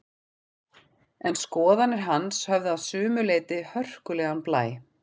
En skoðanir hans höfðu að sumu leyti hörkulegan blæ.